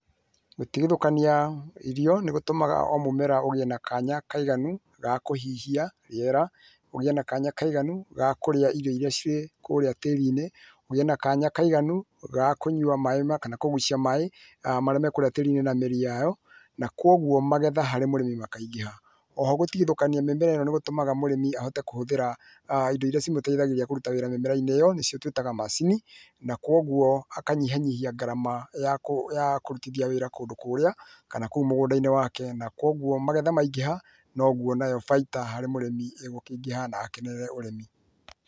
Gũtithũkanio irio nĩ gũtũmaga mũmera ũgĩe na kanya kaiganu ga kũhihia rĩera, ũgĩe na kanya kaiganu ga kũrĩa irio irĩa cikũrĩa tĩrinĩ, ũgĩe na kanya kaiganu ga kũnywa maĩ kana kũgucia maĩ marĩa me kũrĩa tĩrinĩ na mĩrĩ yao, nakũoguo magetha harĩ mũrĩmĩ makaingĩha, oho gũtithũkania mĩmera ĩno nĩ gũtũmaga mũrĩmi ahote kũhũthĩra[uuh]indo irĩa imũteithagĩrĩria kũrũta wĩra mĩmerainĩ ĩyo nĩyo twĩtaga macini ,na kwoguo akanyihia nyihia gharama ya kũrutithia wĩra kúndũ kũrĩa, kana mũgũndaĩnĩ wake na kwoguo magetha maingĩha noguo faita harĩ mũrĩmi ĩkũingihana akenerere ũrimi.